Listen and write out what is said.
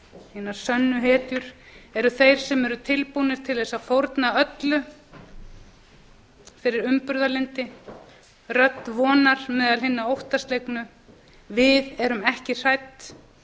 hinar sönnu hetjur eru þeir sem eru tilbúnir til þess að fórna öllu fyrir umburðarlyndi rödd vonar meðal hinna óttaslegnu við erum ekki hrædd